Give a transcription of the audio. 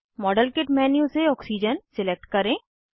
model kit menu से oxygen select करें